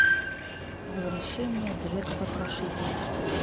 возвращение джека потрошителя